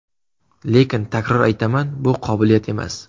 Lekin takror aytaman, bu qobiliyat emas.